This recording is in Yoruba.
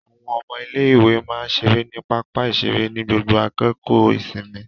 Àwọn ọmọ ilé-ìwé máa ń ṣeré ní pápá-ìṣeré ní gbogbo àkókò ìsinmi.